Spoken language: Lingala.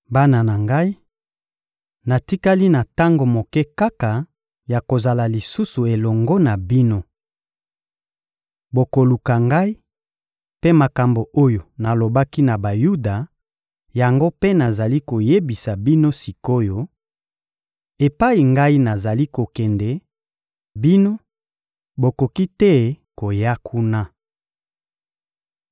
Bana na Ngai, natikali na tango moke kaka ya kozala lisusu elongo na bino. Bokoluka Ngai; mpe makambo oyo nalobaki na Bayuda, yango mpe nazali koyebisa bino sik’oyo: «Epai Ngai nazali kokende, bino, bokoki te koya kuna.»